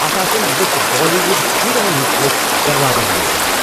اتھ آسن لُکھ بالی وُڈ ہیٖروَن ہٕنٛدۍ پٲٹھۍ دروازن اویزان۔